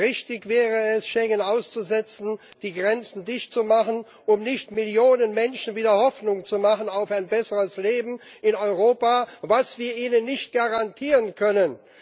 Richtig wäre es, Schengen auszusetzen, die Grenzen dicht zu machen, um nicht Millionen Menschen wieder Hoffnung zu machen auf ein besseres Leben in Europa, was wir ihnen nicht garantieren können.